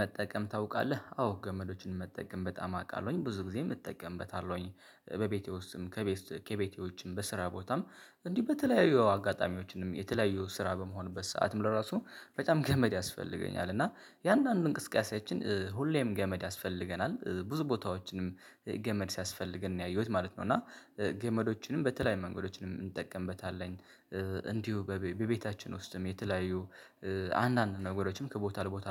መጠቀም ታውቃለህ? አዎ ገመዶችን መጠቀም በጣም አውቃለሁኝ። ብዙ ጊዜ እጠቀምበታለሁኝ። በቤቴ ውስጥም ከቤቴ ከቤቴ ውጪም በስራ ቦታም እንዲህ በተለያዩ አጋጣሚዎችንም የተለያዩ ስራ በመሆንበት ሰዓትም ለራሱ በጣም ገመድ ያስፈልገኛል። እና የአንዳንድ እንቅስቃሴያችን ሁሌም ገመድ ያስፈልገናል። ብዙ ቦታዎችንም ገመድ ሲያስፈልገን ነው ያየሁት ማለት ነው። እና ገመዶችንም በተለይ መንገዶች እንጠቀምበታለን። እንዲሁ በቤታችን ውስጥም የተለያዩ አንዳንድ ነገሮችም ከቦታ ለቦታ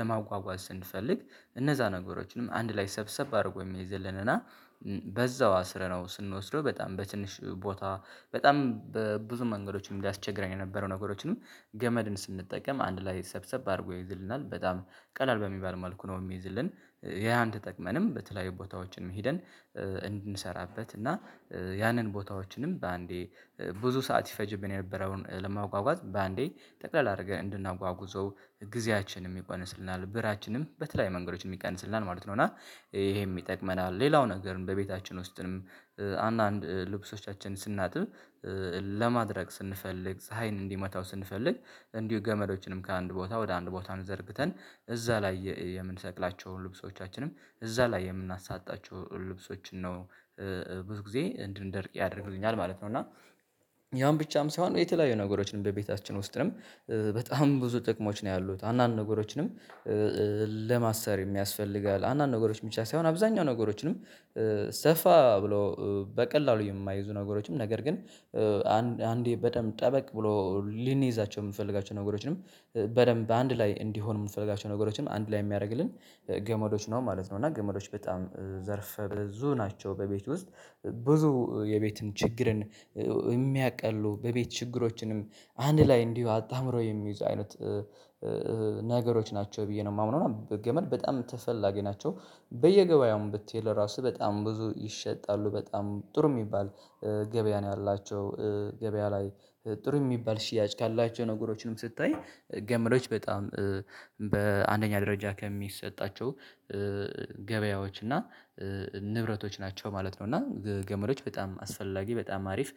ለማጓጓዝ ስንፈልግ እነዛ ነገሮችንም አንድ ላይ ሰብሰብ አድርጎ የሚይዝልን እና በዛው አስረነው ስንወስደው በጣም በትንሽ ቦታ በጣም ብዙ መንገዶችን ያስቸግረን የነበረው ነገሮችንም ገመድን ስንጠቀም አንድ ላይ ሰብሰብ አድርጎ ይይዝልናል። በጣም ቀላል በሚባል መልኩ ነው የሚይዝልን። ያን ተጠቅመንም በተለያዩ ቦታዎችንም ሄደን እንድንሰራበት እና ያንን ቦታዎችንም በአንዴ ብዙ ሰዓት ይፈጅብን የነበረውን ለማጓጓዝ በአንዴ ጠቅለል አድርገን እንድናጓጉዘው ጊዜያችንን ይቀንስልናል ብራችንም በተለያይ መንገዶችን ይቀንስልናል ማለት ነው። እና ይሄም ይጠቅመናል። ሌላው ነገርም በቤታችን ውስጥንም አንዳንድ ልብሶቻችንን ስናጥብ ለማድረግ ስንፈልግ ፀሀይን እንዲመታው ስንፈልግ እንዲሁ ገመዶችንም ከአንድ ቦታ ወደ አንድ ቦታ ዘርግተን እዛ ላይ የምንሰቅላቸውን ልብሶቻችንም እዛ ላይ የምናሳጣቸው ልብሶችን ነው። ብዙ ጊዜ እንድንደርቅ ያደርግልኛል ማለት ነው። እና ያም ብቻም ሳይሆን የተለያዩ ነገሮችን በቤታችን ውስጥም በጣም ብዙ ጥቅሞች ነው ያሉት። አንዳንድ ነገሮችንም ለማሰር የሚያስፈልጋል። አንዳንድ ነገሮች ብቻ ሳይሆን አብዛኛው ነገሮችንም ሰፋ ብሎ በቀላሉ የማይይዙ ነገሮችም ነገር ግን አንዴ በጣም ጠበቅ ብሎ ልንይዛቸው የምንፈልጋቸው ነገሮችንም በደንብ አንድ ላይ እንዲሆን የምንፈልጋቸው ነገሮችንም አንድ ላይ የሚያደርግልን ገመዶች ነው ማለት ነው። እና ገመዶች በጣም ዘርፈ ብዙ ናቸው በቤት ውስጥ። ብዙ የቤትን ችግርን የሚያቀሉ በቤት ችግሮችንም አንድ ላይ እንዲሁ አጣምሮ የሚይዙ አይነት ነገሮች ናቸው ብዬ ነው የማምነው። እና ገመድ በጣም ተፈላጊ ናቸው። በየገበያውም ብትሄድ ለራሱ በጣም ብዙ ይሸጣሉ። በጣም ጥሩ የሚባል ገበያ ነው ያላቸው ገበያ ላይ ጥሩ የሚባል ሽያጭ ካላቸው ነገሮችንም ስታይ ገመዶች በጣም በአንደኛ ደረጃ ከሚሰጣቸው ገበያዎች እና ንብረቶች ናቸው ማለት ነው። እና ገመዶች በጣም አስፈላጊ በጣም አሪፍ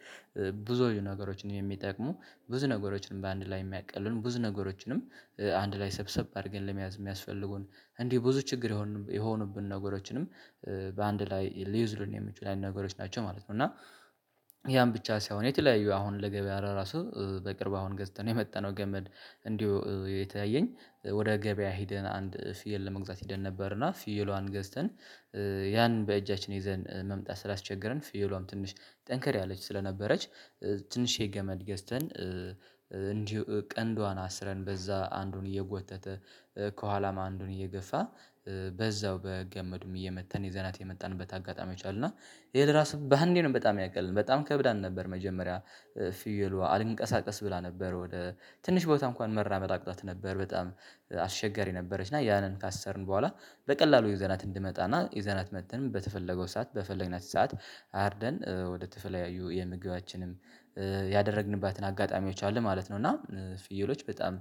ብዙ ነገሮችን የሚጠቅሙ ብዙ ነገሮችንም በአንድ ላይ የሚያቀሉን ብዙ ነገሮችንም አንድ ላይ ሰብሰብ አድርገን ለመያዝ የሚያስፈልጉን እንዲህ ብዙ ችግር የሆኑብን ነገሮችንም በአንድ ላይ ሊይዙልን የሚችሉ ነገሮች ናቸው ማለት ነው። እና ያም ብቻ ሳይሆን የተለያየ አሁን ለገበያ ራሱ በቅርብ አሁን ገዝተን የመጣነው ገመድ እንዲሁ እተያኝ ወደ ገበያ ሄደን አንድ ፍየል ለመግዛት ሄደን ነበርና ፍየሏን ገዝተን ያን በእጃችን ይዘን መምጣት ስላስቸገረን ፍየሏም ትንሽ ጠንከር ያለች ስለነበረች ትንሽየ ገመድ ገዝተን እንዲሁ ቀንዷን አስረን በዛ አንዱን እየጎተተ ከኋላም አንዱን እየገፋ በዛው በገመዱም እየመጣን ይዘናት የመጣንበት አጋጣሚ የቻልን እና ይሄን ራሱ በአንዴ ነው በጣም ያቀልልን በጣም ከብዳን ነበር መጀመሪያ ፍየሏ አልንቀሳቀስ ብላ ነበር። ወደ ትንሽ ቦታ እንኳን መራመድ አቅቷት ነበር። በጣም አስቸጋሪ ነበረች። እና ያንን ካሰርን በኋላ በቀላሉ ይዘናት እንድመጣና ይዘናት መጥተንም በተፈለገው ሰዓት በፈለግነት ሰዓት አርደን ወደ ተለያዩ የምግባችንም ያደረግንባትን አጋጣሚዎች አሉ ማለት ነው። እና ፍየሎች በጣም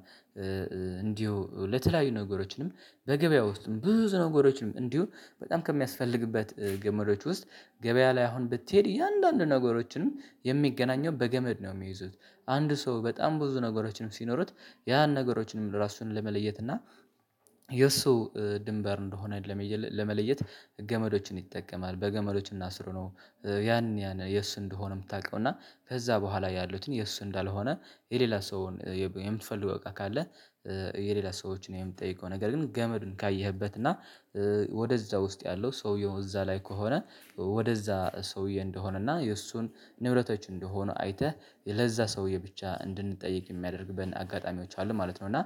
እንዲሁ ለተለያዩ ነገሮችንም በገበያ ውስጥም ብዙ ነገሮችንም እንዲሁ በጣም ከሚያስፈልግበት ገመዶች ውስጥ ገበያ ላይ አሁን ብትሄድ የአንዳንድ ነገሮችንም የሚገናኘው በገመድ ነው የሚይዙት። አንድ ሰው በጣም ብዙ ነገሮችንም ሲኖሩት ያን ነገሮችንም ለራሱን ለመለየት እና የእሱ ድንበር እንደሆነ ለመለየት ገመዶችን ይጠቀማል። በገመዶችን አስሮ ነው ያን ያን የሱ እንደሆነ የምታውቀው እና ከዛ በኋላ ያሉትን የሱ እንዳልሆነ የሌላ ሰውን የምትፈልገው በቃ ካለ የሌላ ሰዎችን የምጠይቀው። ነገር ግን ገመዱን ካየህበት እና ወደዛ ውስጥ ያለው ሰውየው እዛ ላይ ከሆነ ወደዛ ሰውዬ እንደሆነና የእሱን ንብረቶች እንደሆነ አይተህ ለዛ ሰውዬ ብቻ እንድንጠይቅ የሚያደርግበትን አጋጣሚዎች አሉ ማለት ነው። እና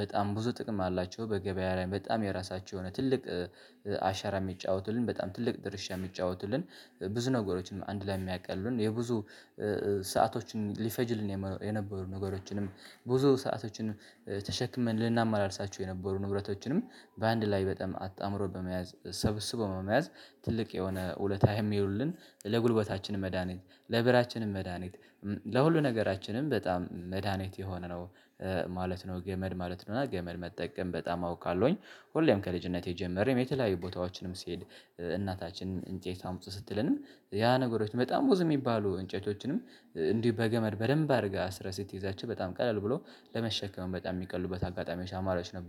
በጣም ብዙ ጥቅም አላቸው። በገበያ ላይ በጣም የራሳቸው የሆነ ትልቅ አሻራ የሚጫወቱልን በጣም ትልቅ ድርሻ የሚጫወቱልን ብዙ ነገሮችንም አንድ ላይ የሚያቀሉልን የብዙ ሰአቶችን ሊፈጅልን የነበሩ ነገሮችንም ብዙ ሰአቶችን ተሸክመን ልናመላልሳቸው የነበሩ ንብረቶችንም በአንድ ላይ በጣም አጣምሮ በመያዝ ሰብስቦ በመያዝ ትልቅ የሆነ ውለታ የሚውሉልን ለጉልበታችን መድሃኒት ለብራችንም መድሃኒት ለሁሉ ነገራችንም በጣም መድሃኒት የሆነ ነው ማለት ነው ገመድ ማለት ነው። እና ገመድ መጠቀም በጣም አውቃለሁኝ። ሁሌም ከልጅነቴ ጀመርን የተለያዩ ቦታዎችንም ስሄድ እናታችንም እንጨት አምጡ ስትለንም ያ ነገሮች በጣም ብዙ የሚባሉ እንጨቶችንም እንዲሁ በገመድ በደንብ አድርገህ አስረስህ ስትይዛቸው በጣም ቀለል ብሎ ለመሸከሙ በጣም የሚቀሉበት አጋጣሚዎች አማራጭ ነበሩ።